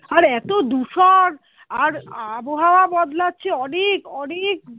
আর এত দূষণ আর আবহাওয়া বদলাচ্ছে অনেক অনেক